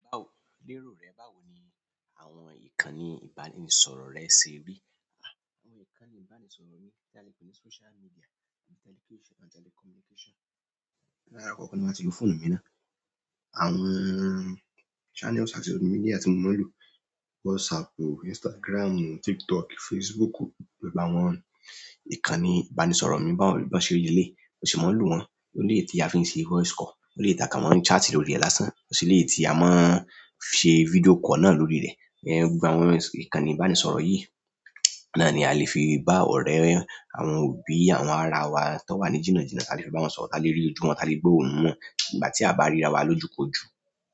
Báwo lérò rẹ, báwo ni àwọn ìkànnì ìbánisọ̀rọ̀ rẹ ṣe rí? Àwọn ìkànnì ìbánisọ̀rọ̀ mi tí a lè pè ní social media and telecommunication. Ní alákọ̀ọ́ ni màá ti lo fóònù mi ná. Àwọn channels àti media tí mo máa ń lò, WhatsApp, Instagram, TikTok, Facebook, gbogbo àwọn ìkànnì ìbánisọ̀rọ̀ mi bá ṣe rí leléyìí, mo sì máa ń lò wọ́n. Àwọn eléyìí tí a fi ń ṣe voice call, àwọn eléyìí tí a kàn máa chat lórí rẹ̀ lásán, ó sì lè tí a máa ń ṣe video call náà lórí rẹ̀. Gbogbo àwọn ìkànnì ìbánisọ̀rọ̀ yìí náà ni a lè fi bá ọ̀rẹ́, àwọn òbí, àwọn ara wa tó wà ní jìnàjìnà, ta lè fi bá wọn sọ̀rọ̀, ta lè rí ojú wọn, ta lè gbó ohùn wọn ìgbà tí a bá ríra wa lójúkojú.